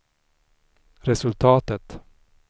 resultatet